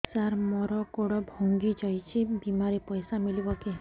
ସାର ମର ଗୋଡ ଭଙ୍ଗି ଯାଇ ଛି ବିମାରେ ପଇସା ମିଳିବ କି